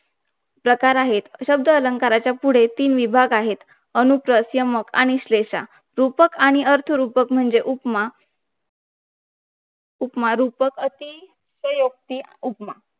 प्रकार आहे शब्द अलंकाराच्या पुढे तीन विभाग आहे अनुप्रास यमक आणि अशलेशा रूपक आणि अर्थरूपक म्हणजे उपमा रूपक अति आयोति